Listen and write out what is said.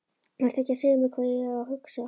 Vertu ekki að segja mér hvað ég á að hugsa!